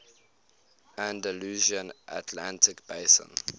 andalusian atlantic basin